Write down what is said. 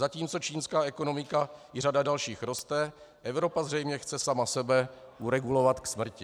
Zatímco čínská ekonomika i řada dalších roste, Evropa zřejmě chce sama sebe uregulovat k smrti.